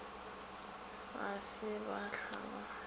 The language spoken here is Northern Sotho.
ga se ba hlwa ba